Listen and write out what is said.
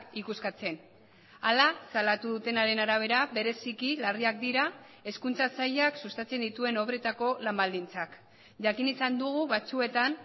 ikuskatzen hala salatu dutenaren arabera bereziki larriak dira hezkuntza sailak sustatzen dituen obretako lan baldintzak jakin izan dugu batzuetan